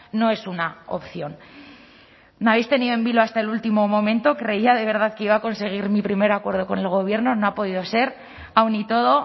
no es una opción nos habéis tenido en vilo hasta el último momento creía de verdad que iba a conseguir mi primer acuerdo con el gobierno no ha podido ser aún y todo